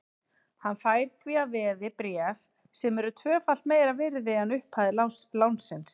Hann fær því að veði bréf sem eru tvöfalt meira virði en upphæð lánsins.